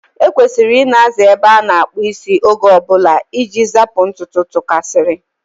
E kwesịrị Ị na-aza ebe a na-akpụ isi oge ọbụla iji zapụ ntutu tụkasiri.